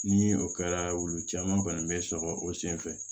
Ni o kɛra wulu caman kɔni bɛ sɔrɔ o senfɛ